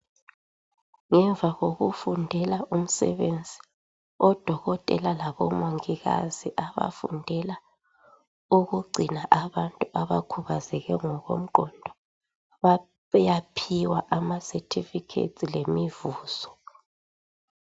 Ngemva kokufundela umsebenzi odokotela labomongikazi abafundela ukugcina abantu abakhubazeke ngokomqondo. bayaphiwa abasethifikhethi lemivuzo.